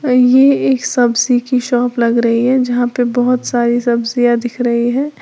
ये एक सब्जी की शॉप लग रही है जहां पे बहुत सारी सब्जियां दिख रही हैं।